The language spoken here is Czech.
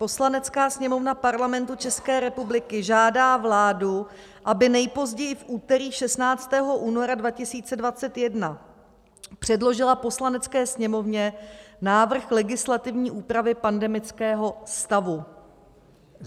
Poslanecká sněmovna Parlamentu České republiky žádá vládu, aby nejpozději v úterý 16. února 2021 předložila Poslanecké sněmovně návrh legislativní úpravy pandemického stavu."